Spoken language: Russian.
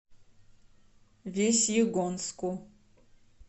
весьегонску